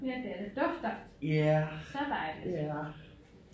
Ja det er det dufter så dejligt